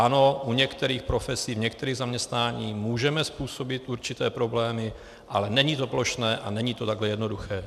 Ano, u některých profesí, v některých zaměstnáních můžeme způsobit určité problémy, ale není to plošné a není to takhle jednoduché.